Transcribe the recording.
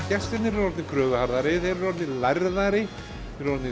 gestirnir eru orðnir kröfuharðari þeir eru orðnir lærðari þeir eru orðnir